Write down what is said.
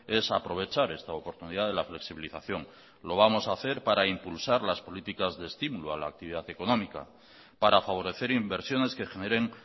es aprovechar esta oportunidad de la flexibilización lo vamos a hacer para impulsar las políticas de estímulo a la actividad económica para favorecer inversiones que generen